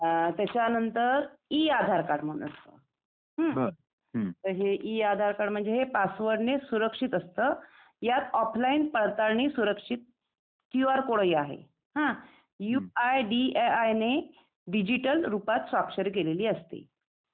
त्याच्या नंतर ई-आधार कार्ड असता हं म्हणजे ई-आधार कार्ड हे पासवर्ड ने सुरक्षित असता यात ऑफलाईन पाताळणी सुरक्षित क्यू आर कोड हि आहे हं आणि you I D A I ने डिजिटल रूपात स्वाक्षरी केलेली असते.